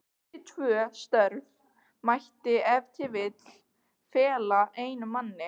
Þessi tvö störf mætti ef til vill fela einum manni.